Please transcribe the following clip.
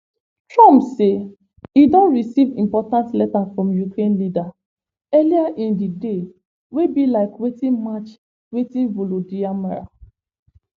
trump say e don receive important letter from ukraine leader earlier in di day wey be like wetin match wetinvolodymyr